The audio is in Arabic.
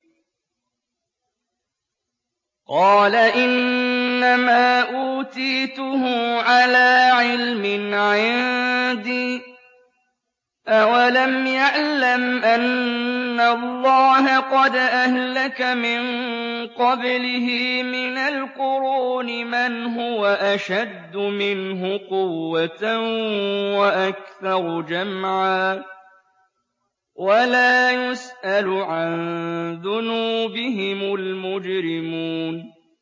قَالَ إِنَّمَا أُوتِيتُهُ عَلَىٰ عِلْمٍ عِندِي ۚ أَوَلَمْ يَعْلَمْ أَنَّ اللَّهَ قَدْ أَهْلَكَ مِن قَبْلِهِ مِنَ الْقُرُونِ مَنْ هُوَ أَشَدُّ مِنْهُ قُوَّةً وَأَكْثَرُ جَمْعًا ۚ وَلَا يُسْأَلُ عَن ذُنُوبِهِمُ الْمُجْرِمُونَ